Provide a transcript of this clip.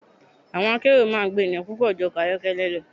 Ọkọ̀ akérò máa ń gba ènìyàn púpọ̀ ju ọkọ̀ ayọ́kẹ́lẹ́ lọ.